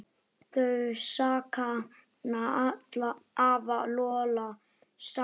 Þau sakna afa Lolla sárt.